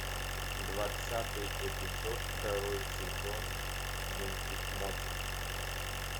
двадцатый эпизод второй сезон мультик мост